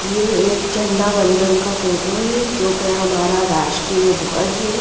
ये एक झंडा वंदन का फोटो है जो कि हमारा राष्ट्रीय ध्वज है।